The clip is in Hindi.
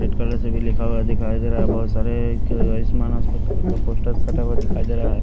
रेड कलर से भी लिखा हुआ दिखाई दे रहा है बहुत सारे एक आयुष्मान हॉस्पिटकर का पोस्टर सटा हुआ दिखाई दे रहा है।